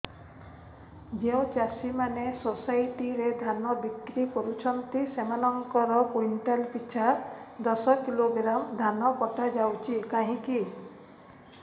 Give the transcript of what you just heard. ଯେଉଁ ଚାଷୀ ମାନେ ସୋସାଇଟି ରେ ଧାନ ବିକ୍ରି କରୁଛନ୍ତି ସେମାନଙ୍କର କୁଇଣ୍ଟାଲ ପିଛା ଦଶ କିଲୋଗ୍ରାମ ଧାନ କଟା ଯାଉଛି କାହିଁକି